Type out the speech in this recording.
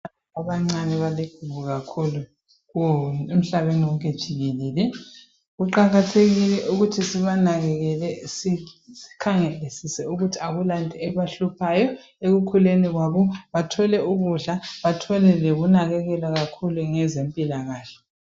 Abancane baludubo kakhulu emhlabeni wonke jikelele. Kuqakathekile ukuthi sibanakekele. Sikhangelisise ukuthi kakulanto ebahluphayo. ekukhuuleni uwabo. Bathole ukudla, bathole ukunakekelwa kakhulu, ngezempilakahke.